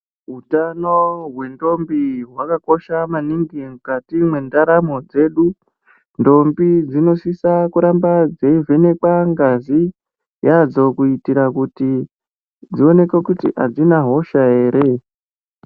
Hutano hwendombi hwakakosha maningi Mukati mendaramo dzedu ndombi dzinosisa kuramba dzeivhenekwa ngazi yadzo kuitira kuti dzionekwe kuti adzina hosha here.